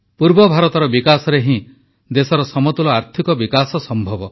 ପୂର୍ବ ଭାରତର ବିକାଶରେ ହିଁ ଦେଶର ସମତୁଲ ଆର୍ଥିକ ବିକାଶ ସମ୍ଭବ